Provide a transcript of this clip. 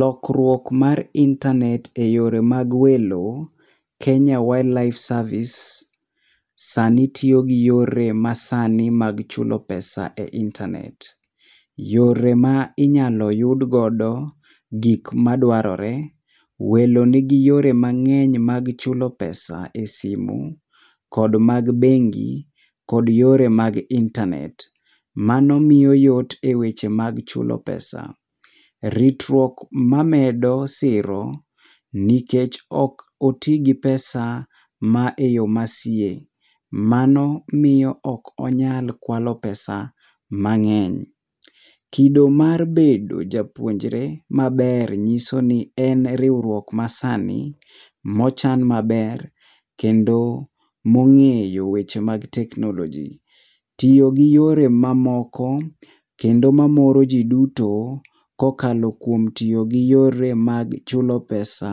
Lokruok mar intanet e yore mag welo Kenya wildlife service sani tiyo gi yore mag chulo pesa e intanet. Yore ma inyalo yud godo gik ma dwarore. Welo ni gi yore mang'eny mag chulo pesa e simo kod mag bengi ,kod yore mag intanet mano miyo yot e yore mag chulo pesa .Ritruok ma amedo siro nikech ok oti gi pesa e ma yo sie, mano miyo ok onyal kwalo pesa mang'eny. Kido mar bedo japuonjre maber ng'iso ni en riwruok ma sani ma ochan maber kendo mo ong'eyo weche mag teknoloji, tiyo gi yore ma moko kendo ma moro ji duto ka okalo kuom tiyo gi yore mag chulo pesa